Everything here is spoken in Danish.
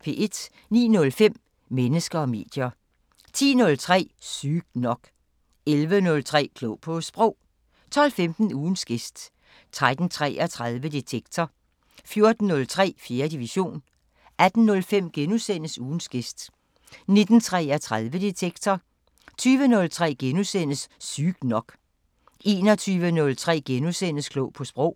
09:05: Mennesker og medier 10:03: Sygt nok 11:03: Klog på Sprog 12:15: Ugens gæst 13:33: Detektor 14:03: 4. division 18:05: Ugens gæst * 19:33: Detektor 20:03: Sygt nok * 21:03: Klog på Sprog *